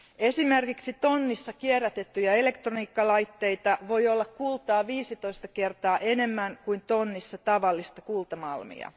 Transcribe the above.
Esimerkiksi tonnissa kierrätettyjä elektroniikkalaitteita voi olla kultaa 15 kertaa enemmän kuin tonnissa tavallista kultamalmia.